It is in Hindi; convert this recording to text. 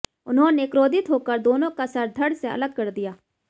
उन्होंने क्रोधित होकर दोनों का सर धड़ से अलग कर दिया